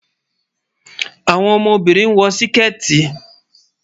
Àwọn ọmọbínrin wọ̀ síkẹ́tì.